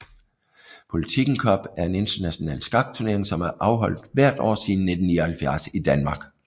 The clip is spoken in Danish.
Politiken Cup er en international skakturnering som er afholdt hvert år siden 1979 i Danmark